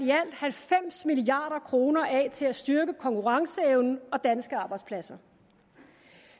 halvfems milliard kroner af til at styrke konkurrenceevnen og danske arbejdspladser